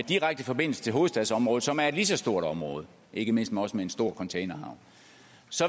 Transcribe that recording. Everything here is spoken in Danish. direkte forbindelse til hovedstadsområdet som er et lige så stort område ikke mindst også med en stor containerhavn